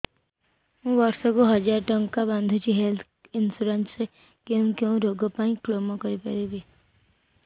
ମୁଁ ବର୍ଷ କୁ ହଜାର ଟଙ୍କା ବାନ୍ଧୁଛି ହେଲ୍ଥ ଇନ୍ସୁରାନ୍ସ ରେ କୋଉ କୋଉ ରୋଗ ପାଇଁ କ୍ଳେମ କରିପାରିବି